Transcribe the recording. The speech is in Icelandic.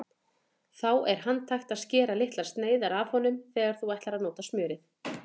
Þá er handhægt að skera litlar sneiðar af honum þegar þú ætlar að nota smjörið.